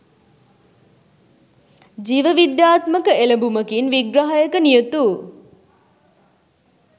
ජීවවිද්‍යාත්මක එළඹූමකින් විග්‍රහයක නියුතු